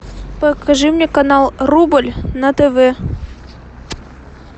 покажи мне канал рубль на тв